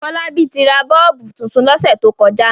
Fọlábí tra bọ́ọ́bú tuntun lọ́sẹ̀ tó kọjá.